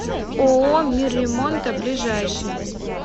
ооо мир ремонта ближайший